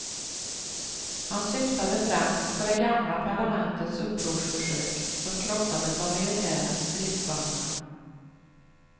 Han syftade främst på det gamla parlamentets upprorsförsök, som krossades av militärens stridsvagnar.